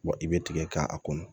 Wa i bɛ tigɛ k'a kɔnɔ